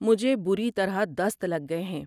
مجھے بری طرح دست لگ گئے ہیں۔